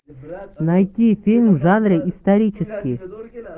найти фильм в жанре исторический